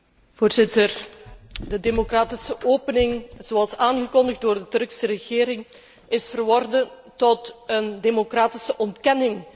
Voorzitter, de democratische opening, zoals aangekondigd door de Turkse regering, is verworden tot een democratische ontkenning.